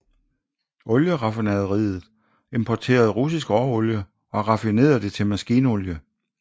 Olieraffinaderiet importerede russisk råolie og raffinerede det til maskinolie